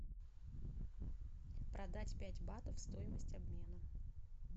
продать пять батов стоимость обмена